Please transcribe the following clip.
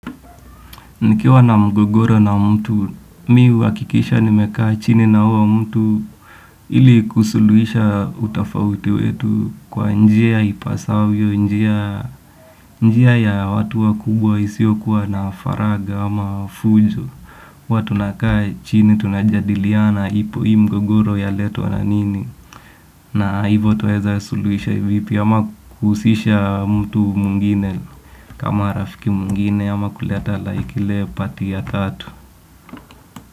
Nikiwa na mgogoro na mtu, mihuakikisha nimekaa chini na huo mtu ili kusuluisha utafauti wetu kwa njia ipasavyo, njia ya watu wa kubwa isio kuwa na faraga ama fujo. Huwatunakaa chini tunajadiliana ipo hii mgogoro ya letwa nanini na hivo twaheza suluhisha hivipi ama kuhusisha mtu mwingine kama rafiki mwingine ama kuleta like ile pati ya tatu.